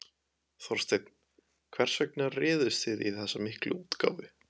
Þorsteinn, hvers vegna réðust þið í þessa miklu útgáfu?